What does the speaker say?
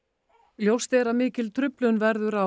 ljóst er að mikil truflun verður á